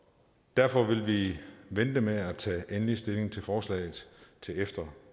derfor vil vi vente med at tage endelig stilling til forslaget til efter